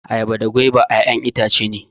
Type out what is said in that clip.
Ayaba da gwaiba ƴaƴan itace ne